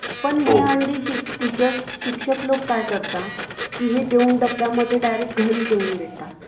पण हे अंडी टीचर्स , शिक्षक लोक काय करतात , कि हे दोन डब्यामध्ये डायरेक्ट घरी नेऊन देतात .